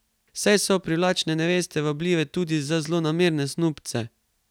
Saj so privlačne neveste vabljive tudi za zlonamerne snubce.